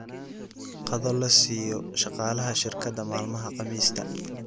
Qado la siiyo shaqaalaha shirkadda maalmaha Khamiista